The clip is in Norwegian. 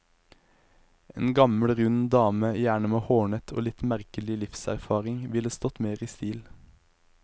En gammel rund dame, gjerne med hårnett og litt merkelig livserfaring, ville stått mer i stil.